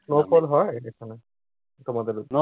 snowfall হয় ওখানে? তোমাদের ওইদিকে?